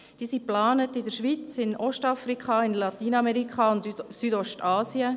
Diese sind in der Schweiz geplant, in Ostafrika, in Lateinamerika und in Südostasien.